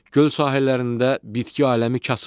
Göl sahillərində bitki aləmi kasıbdır.